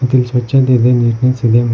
ಮತ್ ಇಲ್ ಸ್ವಚ್ಛತೆ ಇದೆ ನೀಟ್ನೆಸ್ ಇದೆ.